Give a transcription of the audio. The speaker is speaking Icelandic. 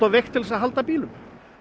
veikt til þess að halda bílum